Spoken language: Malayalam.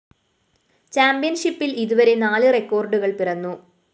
ചാമ്പ്യന്‍ഷിപ്പില്‍ ഇതുവരെ നാല് റെക്കോഡുകള്‍ പിറന്നു